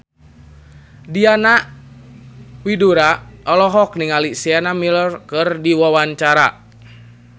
Diana Widoera olohok ningali Sienna Miller keur diwawancara